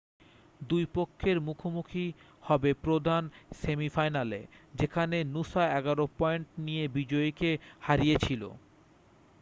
2 পক্ষের মুখোমুখি হবে প্রধান সেমিফাইনালে যেখানে নূসা 11 পয়েন্ট নিয়ে বিজয়ীকে হারিয়েছিল